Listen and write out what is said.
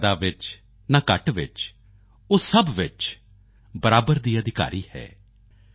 ਨਾ ਜ਼ਿਆਦਾ ਵਿੱਚ ਨਾ ਘੱਟ ਵਿੱਚ ਉਹ ਸਭ ਵਿੱਚ ਬਰਾਬਰ ਦੀ ਅਧਿਕਾਰੀ ਹੈ